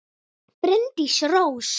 Bryndís Rós.